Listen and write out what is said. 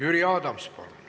Jüri Adams, palun!